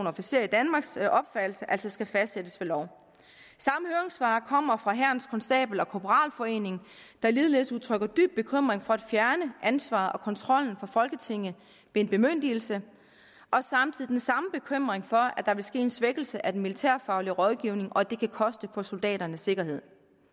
officerer i danmarks opfattelse altså skal fastsættes ved lov samme høringssvar kommer fra hærens konstabel og korporalforening der ligeledes udtrykker dyb bekymring for at fjerne ansvaret og kontrollen fra folketinget ved en bemyndigelse og samtidig den samme bekymring for at der vil ske en svækkelse af den militærfaglige rådgivning og at det kan koste på soldaternes sikkerhed